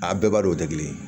A bɛɛ b'a dɔn o tɛ kelen ye